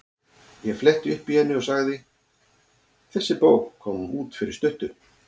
Ég fletti upp í henni og sagði: Þessi bók kom út fyrir stuttu.